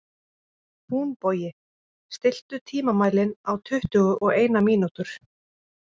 Húnbogi, stilltu tímamælinn á tuttugu og eina mínútur.